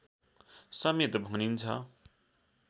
समेत भनिन्छ